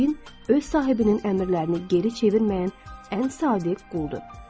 Cin öz sahibinin əmrlərini geri çevirməyən ən sadiq quldur.